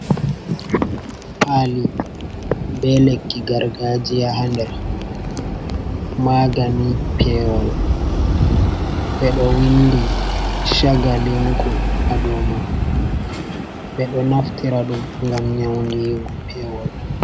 Pali be lekki gargajiya ha nder, magani pewol. Ɓe ɗo windi chagalinku ha dou man. Ɓe ɗo naftira ɗum ngam nyaundigo pewol.